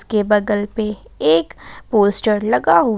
के बगल पे एक पोस्टर लगा हु--